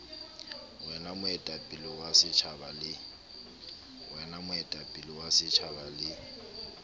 wena moetapele wa setjhaba le